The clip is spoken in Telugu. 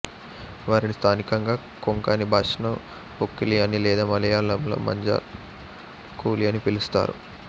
వారిని స్థానికంగా కొంకణి భాషలో ఉక్కులి అని లేదా మలయాళంలో మంజల్ కూలి అని పిలుస్తారు